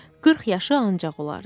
40 yaşı ancaq olardı.